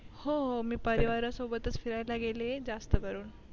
हो मी परिवारा सोबतच फिरायला गेलीए जास्तकरून